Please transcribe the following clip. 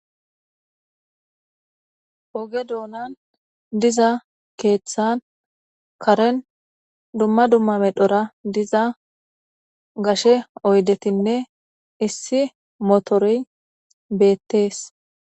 Oge doonan diza keeththan karen dumma dumma me dhora diza gashe oydetinne issi motory beettees.